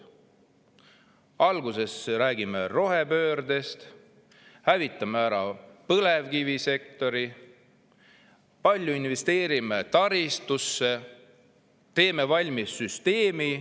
Alguses räägime rohepöördest, hävitame ära põlevkivisektori, investeerime palju taristusse ja siis teeme valmis süsteemi.